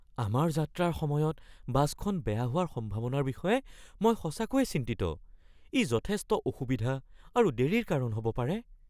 আমাৰ যাত্ৰাৰ সময়ত বাছখন বেয়া হোৱাৰ সম্ভাৱনাৰ বিষয়ে মই সঁচাকৈয়ে চিন্তিত; ই যথেষ্ট অসুবিধা আৰু দেৰিৰ কাৰণ হ'ব পাৰে।